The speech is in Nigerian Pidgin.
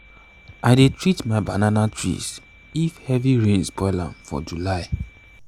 i dey treat my banana trees if heavy rain spoil am for july